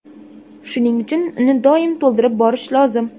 Shuning uchun uni doim to‘ldirib borish lozim.